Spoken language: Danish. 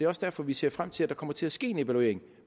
også derfor vi ser frem til at der kommer til at ske en evaluering